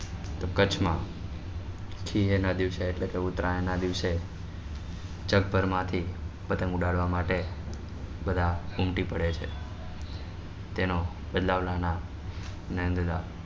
તો કચ્છ માં થઈએ નાં દિવસે એટલે કે ઉતરાયણ ના દિવસે જગભર માં થી પતંગ ઉડાડવા માટે બધા ઉમટી પડે છે તેનો બ્દ્લાવ્લાના નાદ્નાલા